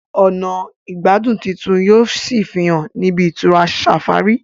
ọnà igbadun títún yíò sí fihàn ní ibi-itura safari